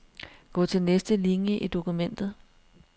Gå til næste linie i dokumentet.